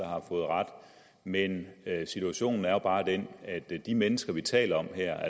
har fået ret men situationen er bare den at de mennesker vi taler om her